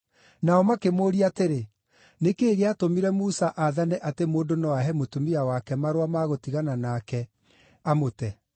Nao makĩmũũria atĩrĩ, “Nĩ kĩĩ gĩatũmire Musa aathane atĩ mũndũ no ahe mũtumia wake marũa ma gũtigana nake, amũte?”